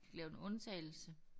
Lavet en undtagelse